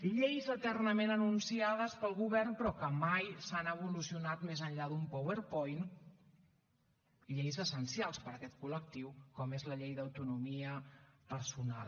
lleis eternament anunciades pel govern però que mai han evolucionat més enllà d’un powerpoint lleis essencials per a aquest col·lectiu com és la llei d’autonomia personal